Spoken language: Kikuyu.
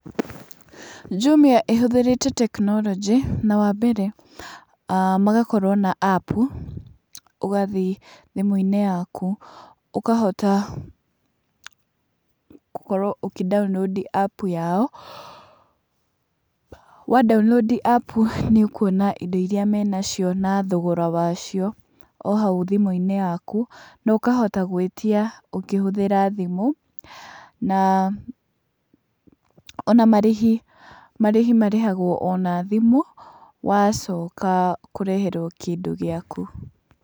Jumia ĩhũthĩrĩte tekinoronjĩ na wa mbere magakorwo na app ũgathĩe thimũ-inĩ yaku, ũkahota gũkorwo ũkĩ download app yao. Wa download app nĩ ũkuona indo iria menacio na thogora wacio o hau thimũ-inĩ yaku na ũkahota gũĩtia ũkĩhũthĩra thimũ, na ona marĩhi , marĩhi marĩhagwo ona thimũ wacoka kũreherwo kĩndũ gĩaku.